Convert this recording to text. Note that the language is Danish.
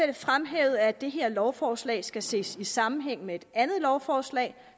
det fremhævet at det her lovforslag skal ses i sammenhæng med et andet lovforslag